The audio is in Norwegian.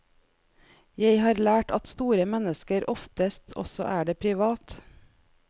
Jeg har lært at store mennesker oftest også er det privat.